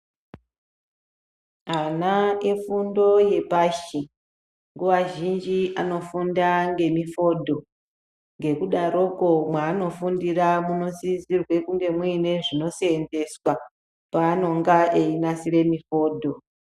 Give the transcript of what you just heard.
Ana efundo yepashi, nguwa zhinji anofunda ngemifodho, ngekudaroko mwaano fundira muno sisirwe kunge muine zvino seenzeswa paanonga iyi nasire mifodho.